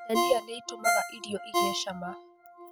Dania nĩitũmaga irio igĩe cama.